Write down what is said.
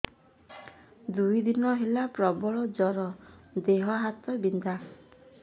ଦୁଇ ଦିନ ହେଲା ପ୍ରବଳ ଜର ଦେହ ହାତ ବିନ୍ଧା